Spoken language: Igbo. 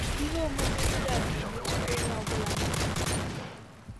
Ihe omume ndị a ga-emetụta onye ọ bụla nọ n'ụwa.